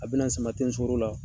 A bina n sama ni sukɔro la.